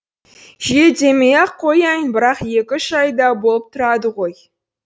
жиі демей ақ қояйын бірақ екі үш айда болып тұрады ғой